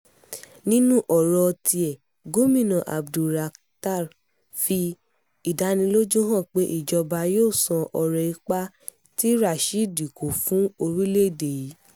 nínú ọ̀rọ̀ tiẹ̀ gomina abdulrakhtar fi ìdánilójú hàn pé ìjọba yóò san oore ipa tí rashidi kó fún orílẹ̀-èdè yìí